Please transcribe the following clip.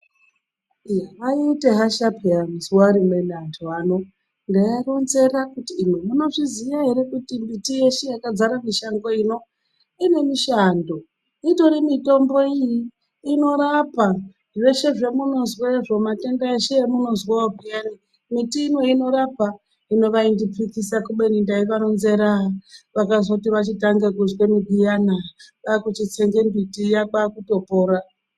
Vaiite hasha peyana zuwa rimweni antu ano ndeivaronzera kuti imwi munozviziya ere kuti mbiti yeshe yakadzare mushango ino ine mishando itori mitombo iyi inorapa zveshe zvemunozwazvo matenda eshe emunozwawo peyani. Miti ino inorapa. Hino vaindipikisa kubeni ndeivaronzera vakazoti vachitange kuzwe miti iyana kwakuchitsenge miti iya kwakutopora.